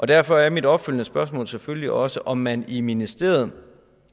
derfor er mit opfølgende spørgsmål selvfølgelig også om man i ministeriet